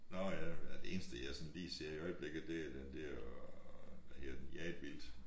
Nåh ja det eneste jeg sådan lige ser i øjeblikket det er den der hvad hedder den Jaget Vildt